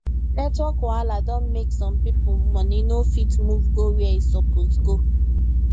network wahala don make some people money no fit move go where e suppose go